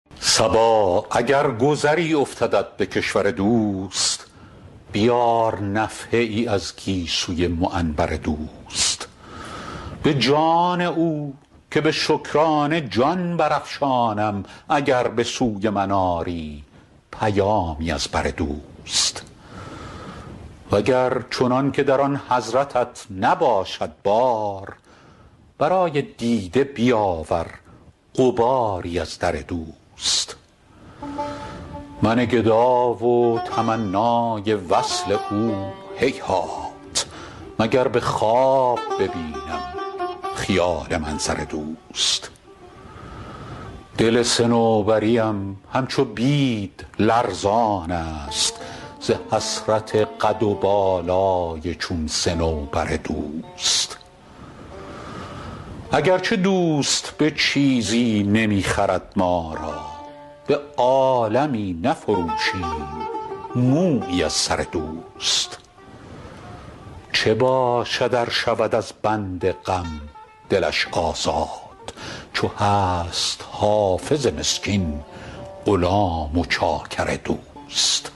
صبا اگر گذری افتدت به کشور دوست بیار نفحه ای از گیسوی معنبر دوست به جان او که به شکرانه جان برافشانم اگر به سوی من آری پیامی از بر دوست و گر چنان که در آن حضرتت نباشد بار برای دیده بیاور غباری از در دوست من گدا و تمنای وصل او هیهات مگر به خواب ببینم خیال منظر دوست دل صنوبری ام همچو بید لرزان است ز حسرت قد و بالای چون صنوبر دوست اگر چه دوست به چیزی نمی خرد ما را به عالمی نفروشیم مویی از سر دوست چه باشد ار شود از بند غم دلش آزاد چو هست حافظ مسکین غلام و چاکر دوست